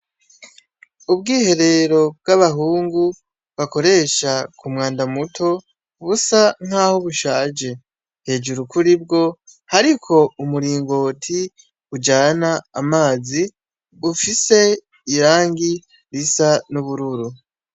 Ubwiherero bw'abahungu bakoresha ku mwanda muto ubusa nk'aho bushaje hejuru kuri bwo hariko umuringoti ujana amazi bufise irangi risa n'ubururu.